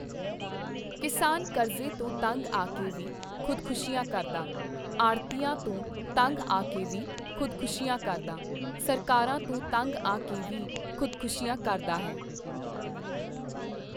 ਕਿਸਾਨ ਕਰਜ਼ੇ ਤੋਂ ਤੰਗ ਆ ਕੇ ਵੀ ਖੁਦਕੁਸ਼ੀਆਂ ਕਰਦਾ, ਆੜ੍ਹਤੀਆਂ ਤੋਂ ਤੰਗ ਆ ਕੇ ਵੀ ਖੁਦਕੁਸ਼ੀਆਂ ਕਰਦਾ, ਸਰਕਾਰਾਂ ਤੋਂ ਤੰਗ ਆ ਕੇ ਵੀ ਖੁਦਕੁਸ਼ੀਆਂ ਕਰਦਾ ਹੈ।